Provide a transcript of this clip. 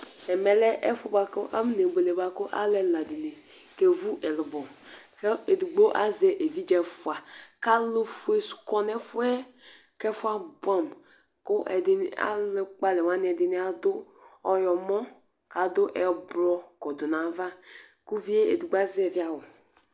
Ɛmɛlɛ ɛfu bʋakʋ afɔne bʋele bʋakʋ alu ɛla dìní kevu ɛlubɔ Ɛdigbo azɛ evidze ɛfʋa kʋ alu fʋe kɔ nʋ ɛfʋɛ kʋ ɛfʋɛ abʋɛ amu kʋ alu kpɔ alɛ wani ɛdiní adʋ ɔwlɔmɔ kʋ adu ɛblɔ kɔdu nʋ ava kʋ ʋvi ye ɛdigbo azɛvi awu